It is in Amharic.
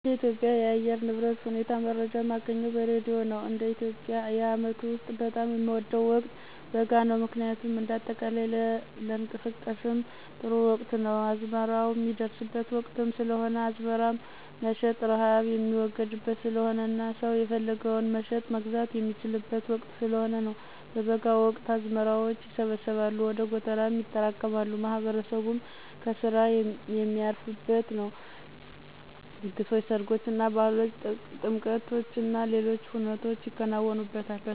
እንደ ኢትዮጵያ የአየር ንብረት ሁኔታ መረጃ ማገኘው በሬድዮ ነው፣ እንደ ኢትዮጵያ የአመቱ ውስጥ በጣም የምወደው ወቅት በጋ ነው ምክንያቱም እንደ አጠቃላይ ለንቀሳቀስም ጥሩ ወቅት ነው፣ አዝመራው ሚደርስበት ወቅትም ስለሆነ አዝመራም መሸጥ፣ ርሃብ ሚወገድበት ስለሆነና ሰው የፈለገውን መሸጥ፣ መግዛት የሚችልበት ወቅት ስለሆነ ነው። በበጋ ወቅት አዝመራዎች ይሰበሰባሉ ወደ ጎተራም ይጠራቀማሉ፣ ማህበረሰቡም ከስራ ሚያርፍበት ነው፣ ድግሶች፣ ሰርጎችና፣ ባህሎች፣ ጥምቀቶችና ሌሎች ሁነቶች ይከናወኑበታል።